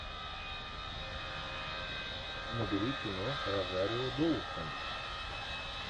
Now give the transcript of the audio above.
набери кино розарио доусон